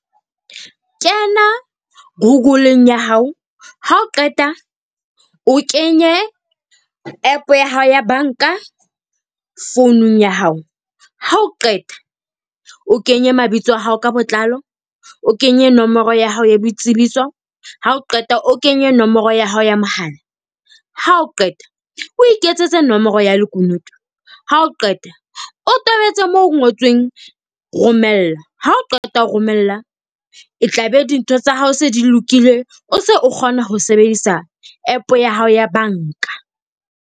Kena Google-eng ya hao. Ha o qeta o kenye APP ya hao ya banka founung ya hao. Ha o qeta, o kenye mabitso a hao ka botlalo, o kenye nomoro ya hao ya boitsebiso, ha o qeta o kenye nomoro ya hao ya mohala. Ha o qeta, o iketsetse nomoro ya lekunutu. Ha o qeta, o tobetse moo ho ngotsweng romella. Ha o qeta ho romella e tlabe dintho tsa hao se di lokile. O se o kgona ho sebedisa APP ya hao ya banka.